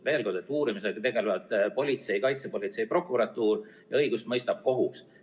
Veel kord: uurimisega tegelevad politsei, kaitsepolitsei ja prokuratuur ning õigust mõistab kohus.